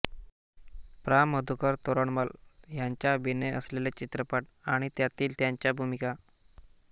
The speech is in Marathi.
प्रा मधुकर तोरडमल यांचा अभिनय असलेले चित्रपट आणि त्यांतील त्यांच्या भूमिका